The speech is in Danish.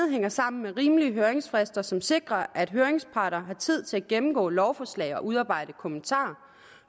hænger sammen med rimelige høringsfrister som sikrer at høringsparter har tid til at gennemgå lovforslag og udarbejde kommentarer